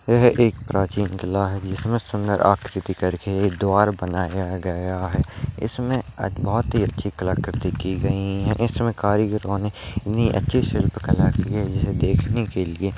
यह एक प्राचीन किला है जिसमे सुंदर आकृति करके एक द्वार बनाया गया है इसमें बहुत ही अच्छी कलाकृति की गई है इसमें कारीगरों ने इतनी अच्छी शिल्पकला की है जिसको देखने के लिये --